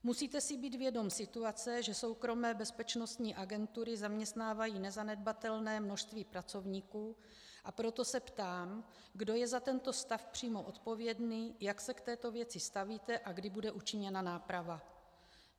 Musíte si být vědom situace, že soukromé bezpečnostní agentury zaměstnávají nezanedbatelné množství pracovníků, a proto se ptám, kdo je za tento stav přímo odpovědný, jak se k této věci stavíte a kdy bude učiněna náprava.